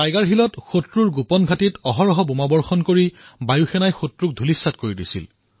tiger হিলত শত্ৰুৰ ঠিকনাত দিনৰাতি বোমাবৰ্ষণ কৰি বায়ুসেনাই তেওঁলোকৰ ধূলি উৰুৱাই দিছিল